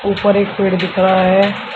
ऊपर एक पेड़ दिख रहा है।